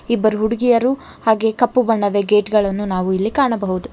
ಇಬ್ಬರು ಹುಡುಗಿಯರು ಹಾಗೆ ಕಪ್ಪು ಬಣ್ಣದ ಗೇಟ್ ಗಳನ್ನು ನಾವು ಇಲ್ಲಿ ಕಾಣಬಹುದು.